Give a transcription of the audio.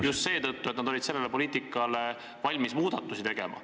... just seetõttu, et nad olid valmis seda poliitikat muutma.